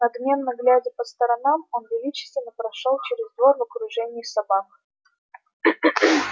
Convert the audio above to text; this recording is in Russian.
надменно глядя по сторонам он величественно прошёл через двор в окружении собак